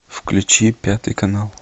включи пятый канал